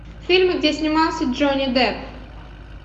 фильмы где снимался джонни депп